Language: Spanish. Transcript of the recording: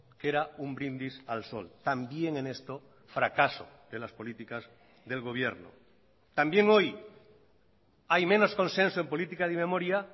que era un brindis al sol también en esto fracaso de las políticas del gobierno también hoy hay menos consenso en política de memoria